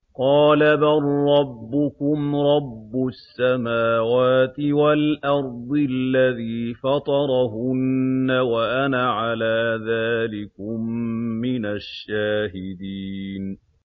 قَالَ بَل رَّبُّكُمْ رَبُّ السَّمَاوَاتِ وَالْأَرْضِ الَّذِي فَطَرَهُنَّ وَأَنَا عَلَىٰ ذَٰلِكُم مِّنَ الشَّاهِدِينَ